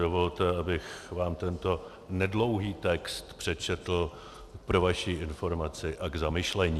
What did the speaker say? Dovolte, abych vám tento nedlouhý text přečetl pro vaši informaci a k zamyšlení: